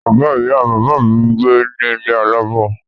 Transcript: Bàbá ìyà bàbá mi gbé ní ilé alámọ̀.